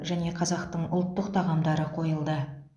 және қазақтың ұлттық тағамдары қойылды